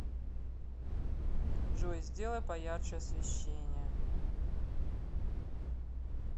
джой сделай поярче освещение